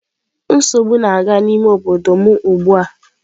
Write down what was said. Nsogbu na-aga n'ime obodo m ugbu a.